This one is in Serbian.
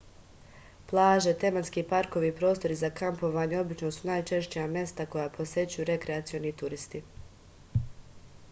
plaže tematski parkovi i prostori za kampovanje obično su najčešća mesta koja posećuju rekreacioni turisti